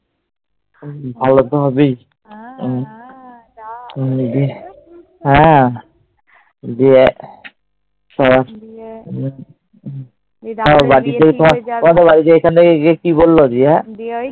ভালো তো হবেই। আহ দিয়ে বাড়ি থেকে, এখান থেকে গিয়ে কি বলল গিয়ে?